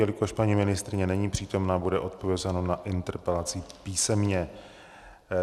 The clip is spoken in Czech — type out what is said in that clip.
Jelikož paní ministryně není přítomna, bude odpovězeno na interpelaci písemně.